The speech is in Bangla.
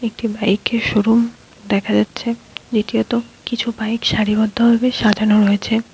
এটি বাইক এর শোরুম দেখা যাচ্ছে নীচে এত কিছু বাইক সারিবদ্ধ ভাবে সাজানো রয়েছে।